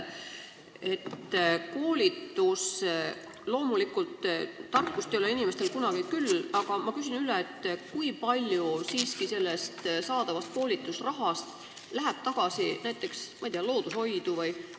Loomulikult ei ole inimestel tarkust kunagi küll, aga kui palju sellest saadavast koolitusrahast läheb näiteks tagasi loodushoidu?